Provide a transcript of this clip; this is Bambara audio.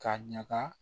K'a ɲaga